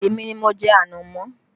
Èmi ni mo jẹ ànámọ́